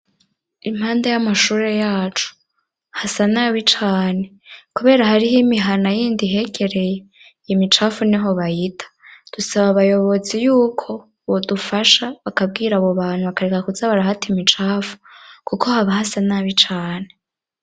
Impande y'amashure yacu hasa nabi cane kubera hariho imihana yindi ihegereye imicafu niho bayita dusaba abayobozi yuko bodufasha bakabwira abo bantu bakareka kuza barahata imicafu kuko haba hasa nabi cane.